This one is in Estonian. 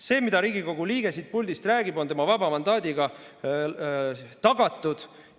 See, mida Riigikogu liige siit puldist räägib, on tema vaba mandaadiga tagatud.